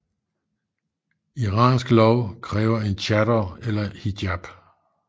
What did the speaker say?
Iransk lov kræver en chador eller hijab